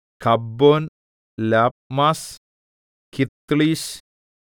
കബ്ബോൻ ലപ്മാസ് കിത്ത്ളീശ്